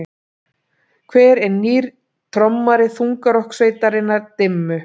Hver er nýr trommari þungarokkssveitarinnar Dimmu?